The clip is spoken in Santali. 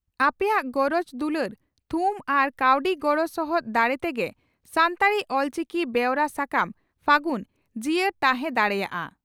ᱟᱯᱮᱭᱟᱜ ᱜᱚᱨᱚᱡᱽ ᱫᱩᱞᱟᱹᱲ, ᱛᱷᱩᱢ ᱟᱨ ᱠᱟᱹᱣᱰᱤ ᱜᱚᱲᱚ ᱥᱚᱦᱚᱫ ᱫᱟᱲᱮ ᱛᱮᱜᱮ ᱥᱟᱱᱛᱟᱲᱤ (ᱚᱞᱪᱤᱠᱤ) ᱵᱮᱣᱨᱟ ᱥᱟᱠᱟᱢ 'ᱯᱷᱟᱹᱜᱩᱱ' ᱡᱤᱭᱟᱹᱲ ᱛᱟᱦᱮᱸ ᱫᱟᱲᱮᱭᱟᱜᱼᱟ ᱾